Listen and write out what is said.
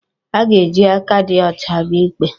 Ị ga-eji aka dị ọcha bịa ikpe